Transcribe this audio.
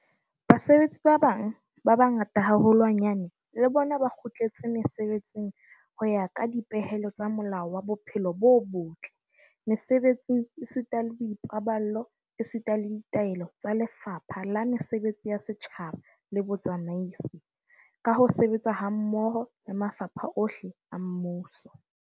Basebetsi ba bang ba bangata haholwanyane le bona ba kgutletse mesebetsing ho ya ka dipehelo tsa Molao wa Bophelo bo botle Mese-betsing esita le Boipaballo esita le ditaelo tsa Lefapha la Mesebetsi ya Setjhaba le Botsamaisi, ka ho sebetsa hammoho le mafapha ohle a mmuso.